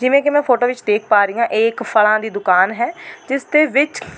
ਜਿਵੇਂ ਕਿ ਮੈਂ ਫੋਟੋ ਵਿੱਚ ਦੇਖ ਪਾ ਰਹੀ ਆਂ ਇਹ ਇੱਕ ਫਲਾਂ ਦੀ ਦੁਕਾਨ ਹੈ ਜਿਸ ਦੇ ਵਿੱਚ--